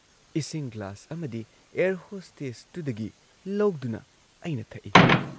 ꯏꯁꯤꯡ ꯒ꯭ꯂꯥꯁ ꯑꯃꯗꯤ ꯑꯦꯌꯔ ꯍꯣꯁꯇꯦꯁꯇꯨꯗꯒꯤ ꯂꯧꯗꯨꯅ ꯑꯩꯅ ꯊꯛꯏ ꯫